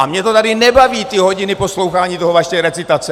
A mě to tady nebaví ty hodiny poslouchání té vaší recitace!